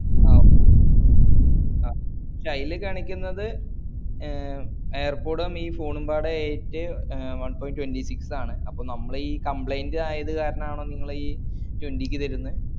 ഷേ ആയില് കാണിക്കുന്നത് ഏർ air pod ഉം ഈ phone ഉം മ്പാടെ eight air one point twentysix ആണ് ആപ്പോ നമ്മള് ഈ complaint ആയത് കാരണം ആണ് ഈ twenty ക്ക് തരുന്നേ